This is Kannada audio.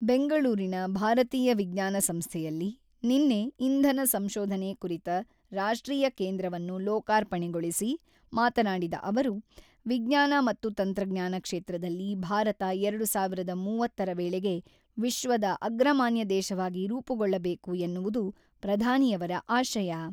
ಬೆಂಗಳೂರಿನ ಭಾರತೀಯ ವಿಜ್ಞಾನ ಸಂಸ್ಥೆಯಲ್ಲಿ ನಿನ್ನೆ ಇಂಧನ ಸಂಶೋಧನೆ ಕುರಿತ ರಾಷ್ಟ್ರೀಯ ಕೇಂದ್ರವನ್ನು ಲೋಕಾರ್ಪಣೆಗೊಳಿಸಿ ಮಾತನಾಡಿದ ಅವರು, ವಿಜ್ಞಾನ ಮತ್ತು ತಂತ್ರಜ್ಞಾನ ಕ್ಷೇತ್ರದಲ್ಲಿ ಭಾರತ ಎರಡು ಸಾವಿರದ ಮೂವತ್ತರ ವೇಳೆಗೆ ವಿಶ್ವದ ಅಗ್ರಮಾನ್ಯ ದೇಶವಾಗಿ ರೂಪುಗೊಳ್ಳಬೇಕು ಎನ್ನುವುದು ಪ್ರಧಾನಿಯವರ ಆಶಯ.